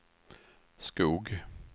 Skog